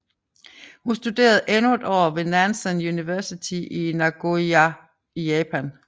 Hun studerede endnu et år ved Nanzan University i Nagoya i Japan